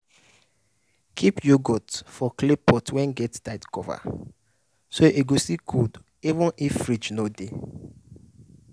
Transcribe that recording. keep yoghurt for clay pot wey get tight cover so e go still cold even if fridge no dey.